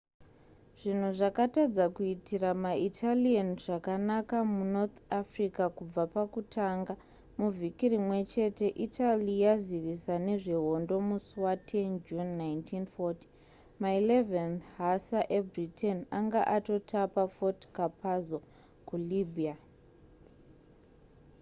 zvinhu zvakatadza kuitira maitalian zvakanaka munorth africa kubva pakutanga muvhiki rimwechete italy yazivisa nezvehondo musi wa 10 june 1940 ma 11th hussar ebritain anga atotapa fort capuzzo kulibya